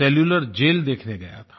cellular jail देखने गया था